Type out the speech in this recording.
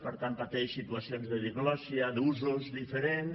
per tant pateix situacions de diglòssia d’usos diferents